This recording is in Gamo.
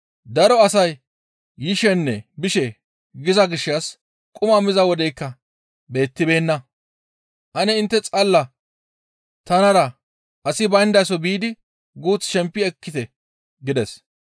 Daro asay yishenne bishe giza gishshas quma miza wodeykka beettibeenna; «Ane intte xalla tanara asi bayndaso biidi guuth shempi ekkite» gides.